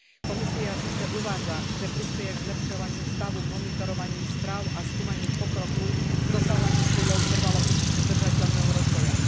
Komisia síce uvádza, že prispeje k zlepšovaniu stavu monitorovaním správ a skúmaním pokroku v dosahovaní cieľov trvalo udržateľného rozvoja.